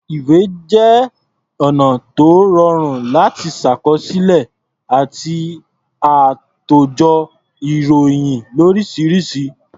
Ìwé jẹ́ ọ̀nà tó rọrùn láti ṣàkọsílẹ̀ àti àtòjọ ìròyìn lóríṣiríṣi.